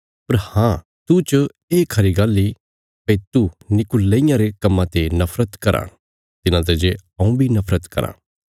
पर हाँ तूह च ये खरी गल्ल इ भई तू नीकुलईयां रे कम्मां ते नफरत कराँ तिन्हांते जे हऊँ बी नफरत कराँ